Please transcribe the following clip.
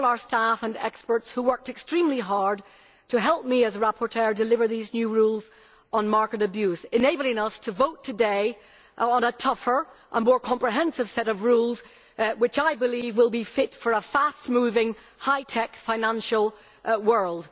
and to all our staff and experts who worked extremely hard to help me as rapporteur to deliver these new rules on market abuse, enabling us to vote today on a tougher and more comprehensive set of rules, which I believe will be fit for a fast moving, high tech financial world.